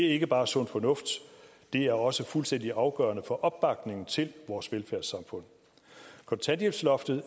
ikke bare sund fornuft det er også fuldstændig afgørende for opbakningen til vores velfærdssamfund kontanthjælpsloftet